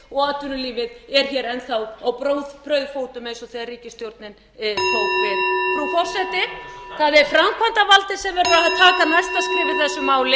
og atvinnulífið er hér enn þá á brauðfótum eins og þegar ríkisstjórnin tók við frú forseti það er framkvæmdarvaldið sem verður að taka næsta skref í þessu máli vangaveltur